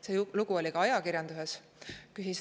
See lugu oli ka ajakirjanduses.